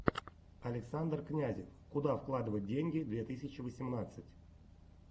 александр князев куда вкладывать деньги две тысячи восемнадцать